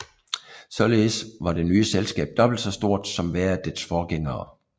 Således var det nye selskab dobbelt så stort som hver af dets forgængere